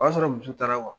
O y'a sɔrɔ muso taara